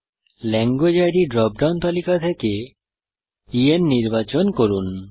language ID drop down তালিকা থেকে EN নির্বাচন করুন